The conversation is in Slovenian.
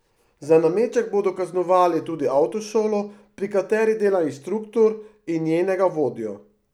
Za nameček bodo kaznovali tudi avtošolo, pri kateri dela inštruktor, in njenega vodjo.